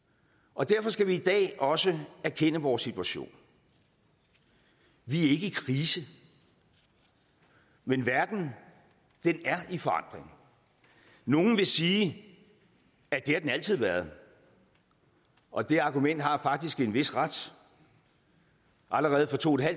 og derfor skal vi i dag også erkende vores situation vi er ikke i krise men verden er i forandring nogle vil sige at det har den altid været og det argument har faktisk en vis ret allerede for to